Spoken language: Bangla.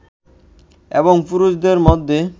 এবং পুরুষদের মধ্যে